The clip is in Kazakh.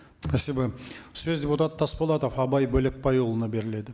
спасибо сөз депутат тасболатов абай бөлекбайұлына беріледі